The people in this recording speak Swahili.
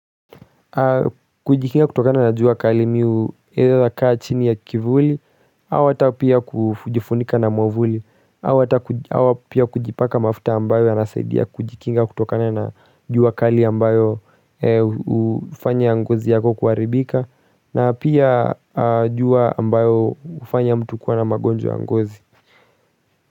Kujikinga kutokana na jua kali mimi hua nakaa chini ya kivuli au hata pia kujifunika na mwavuli au pia kujipaka mafuta ambayo yanasaidia kujikinga kutokana na jua kali ambalo hufanya ngozi yako kuharibika na pia jua ambalo hufanya mtu kuwa na magonjwa ya ngozi.